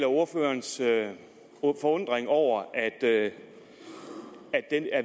ordførerens forundring over at